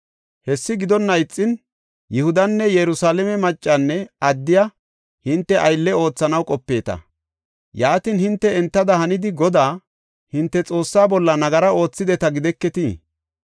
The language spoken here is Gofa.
Hessi gidonna ixin Yihudanne Yerusalaame maccanne addiya hinte aylle oothanaw qopeeta. Yaatin, hinte entada hanidi Godaa, hinte Xoossaa bolla nagara oothideta gideketii?